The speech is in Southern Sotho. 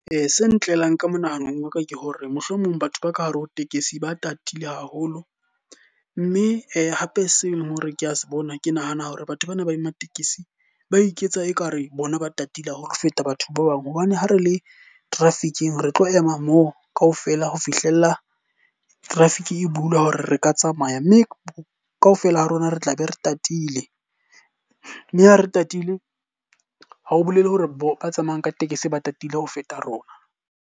Se ntlelang ka monahanong wa ka ke hore mohlomong batho ba ka hare ho tekesi ba tatile haholo. Mme hape se leng hore ke a se bona, ke nahana hore batho bana ba matekesi ba iketsa e ka re bona ba tatile haholo ho feta batho ba bang. Hobane ha re le traffick-ing, re tlo ema moo ka ofela ho fihlella traffic e bulwa hore re ka tsamaya. Mme ka ofela ha rona re tlabe re tatile mme ha re tatile ha o bolele hore ba tsamayang ka tekesi ba tatile ho feta rona.